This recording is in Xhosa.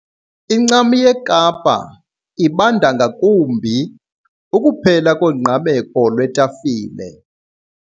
Incam yeKapa ibanda ngakumbi. ukuphela kongqameko lwetafile